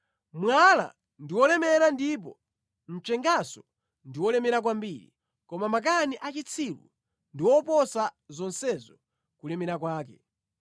Mwala ndi wolemera ndipo mchenganso ndi wolemera kwambiri, koma makani a chitsiru ndi oposa zonsezo kulemera kwake.